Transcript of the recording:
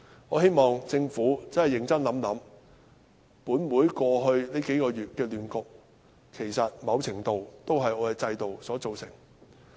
我希望政府要認真想一想，本會過去數月的亂局，其實在某程度上是由我們的制度造成。